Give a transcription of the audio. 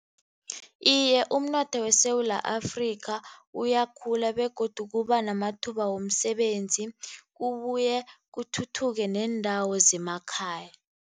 Iye, umnotho weSewula Afrikha, uyakhula begodu kuba namathuba womsebenzi kubuye kuthuthuke neendawo zemakhaya.